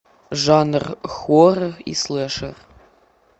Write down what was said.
жанр хоррор и слэшер